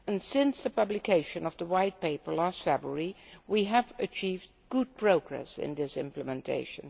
Since the publication of the White Paper last February we have achieved good progress in this implementation.